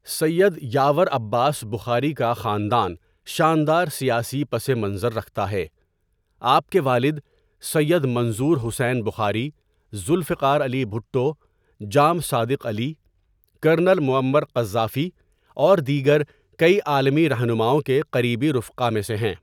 سید یاور عباس بخاری کا خاندان شاندار سیاسی پس منظر رکھتا ہے آپ کے والد Syed Manzoor Hussain Bukhari, Zulfiqar Ali Bhutto, Jam Sadiq Ali ,colonel Muammar Gaddafi اور دیگر کئی عالمی راہنماؤں کے قریبی رفقا میں سے ہیں.